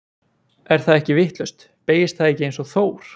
Er það ekki vitlaust, beygist það ekki eins og Þór?